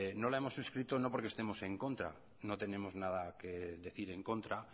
no la hemos suscrito no porque estemos en contra no tenemos nada que decir en contra